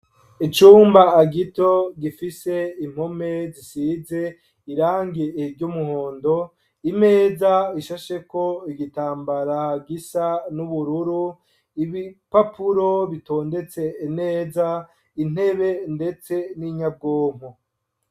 Icumba gito gifise impome zisize irangi ry'umuhondo, imeza ishasheko igitambara gisa n'ubururu, ibipapuro bitondetse neza, intebe ndetse n'inyabwonko.